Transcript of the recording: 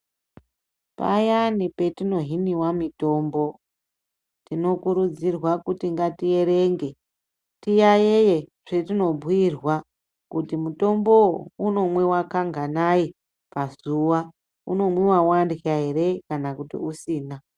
Payani petino hiniwa mitombo tinokurudzirwa kuti ngatierenge tiyayeye kuti mutombo wu unomwiwa kanganayi pazuwa, unomwiwa warya ere kana usina?